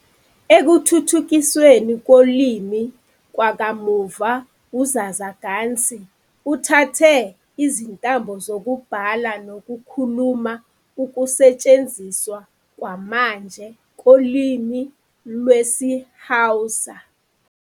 Ekuthuthukisweni kolimi kwakamuva uZazzaganci uthathe izintambo zokubhala nokukhuluma ukusetshenziswa kwamanje kolimi lwesiHausa.